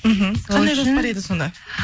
мхм қандай жоспар еді сонда